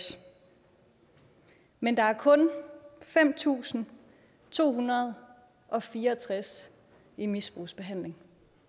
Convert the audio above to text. men der er kun fem tusind to hundrede og fire og tres i misbrugsbehandling